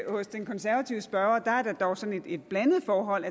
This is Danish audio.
hos den konservative spørger er der dog et blandet forhold